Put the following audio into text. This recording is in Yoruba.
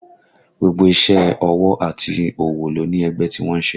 Gbogbo iṣẹ́ ọwọ́ àti òwò ló ní ẹgbẹ́ tí wọ́n ń ṣe